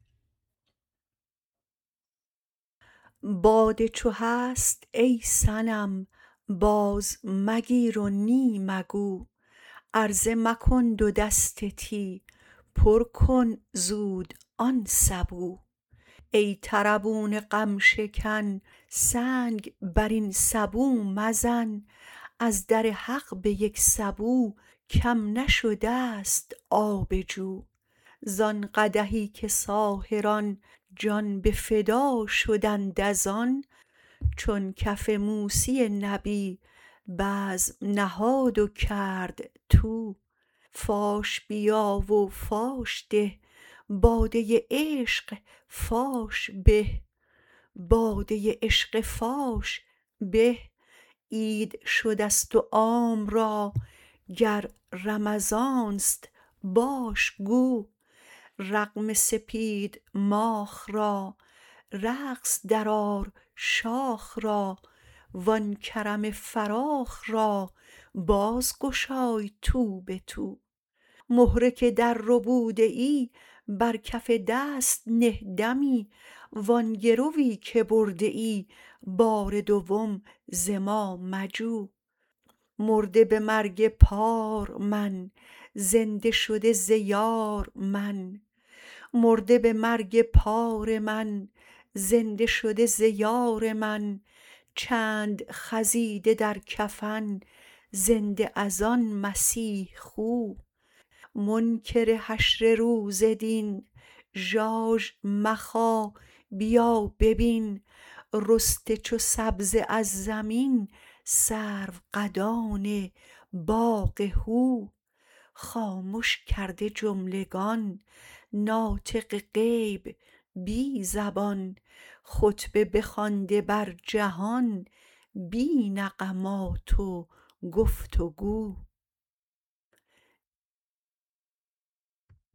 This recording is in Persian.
باده چو هست ای صنم بازمگیر و نی مگو عرضه مکن دو دست تی پر کن زود آن سبو ای طربون غم شکن سنگ بر این سبو مزن از در حق به یک سبو کم نشده ست آب جو زان قدحی که ساحران جان به فدا شدند از آن چون کف موسی نبی بزم نهاد و کرد طو فاش بیا و فاش ده باده عشق فاش به عید شده ست و عام را گر رمضان است باش گو رغم سپید ماخ را رقص درآر شاخ را و آن کرم فراخ را بازگشای تو به تو مهره که درربوده ای بر کف دست نه دمی و آن گروی که برده ای بار دوم ز ما مجو مرده به مرگ پار من زنده شده ز یار من چند خزیده در کفن زنده از آن مسیح خو منکر حشر روز دین ژاژ مخا بیا ببین رسته چو سبزه از زمین سروقدان باغ هو خامش کرده جملگان ناطق غیب بی زبان خطبه بخوانده بر جهان بی نغمات و گفت و گو